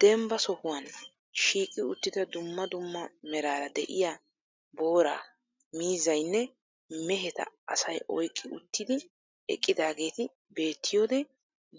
Dembba sohuwaan shiiqi uttida dumma dumma meraara de'iya boora, miizziyanne mehetta asay oyqqi uttidi eqqidaageeti beettiyoode